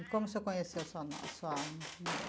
E como o senhor conheceu a sua no a sua mulher?